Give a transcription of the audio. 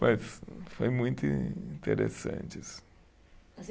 Mas foi muito interessante isso.